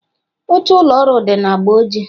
Oche ụlọ ọrụ dị na agba ojii.